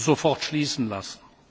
sofort schließen lassen.